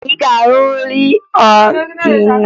Ị ga-ahụ nrị ọdịnaala dị iche iche n'ime obodo